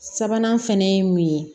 Sabanan fɛnɛ ye mun ye